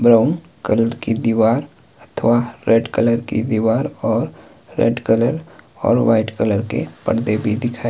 brown colour की दीवार अथवा रेड कलर की दीवार और रेड कलर और व्हाइट कलर के पर्दे भी दिखाई --